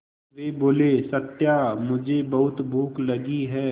वे बोले सत्या मुझे बहुत भूख लगी है